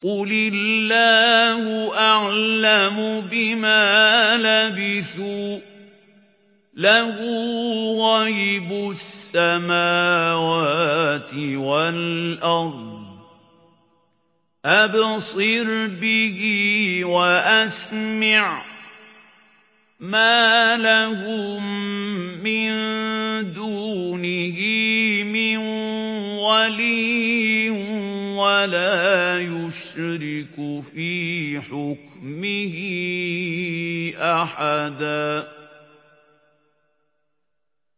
قُلِ اللَّهُ أَعْلَمُ بِمَا لَبِثُوا ۖ لَهُ غَيْبُ السَّمَاوَاتِ وَالْأَرْضِ ۖ أَبْصِرْ بِهِ وَأَسْمِعْ ۚ مَا لَهُم مِّن دُونِهِ مِن وَلِيٍّ وَلَا يُشْرِكُ فِي حُكْمِهِ أَحَدًا